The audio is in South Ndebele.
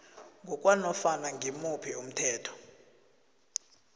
ngokwanofana ngimuphi umthetho